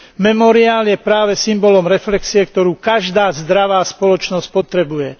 Memoriál je práve symbolom reflexie, ktorú každá zdravá spoločnosť potrebuje.